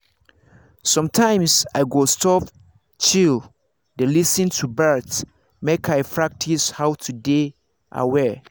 sometimes i go stop just chill dey lis ten to birds make i practice how to dey aware.